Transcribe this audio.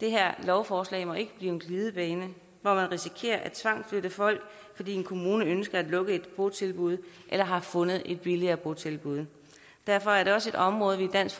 det her lovforslag må ikke blive en glidebane hvor man risikerer at tvangsflytte folk fordi en kommune ønsker at lukke et botilbud eller har fundet et billigere botilbud derfor er det også et område vi i dansk